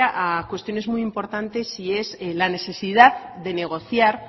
a cuestiones muy importantes y es la necesidad de negociar